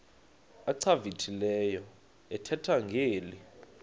achwavitilevo ethetha ngeli